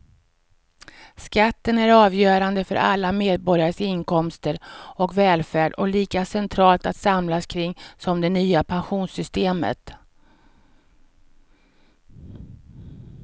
Skatten är avgörande för alla medborgares inkomster och välfärd och lika centralt att samlas kring som det nya pensionssystemet.